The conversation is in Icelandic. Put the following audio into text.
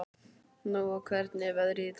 Nóa, hvernig er veðrið í dag?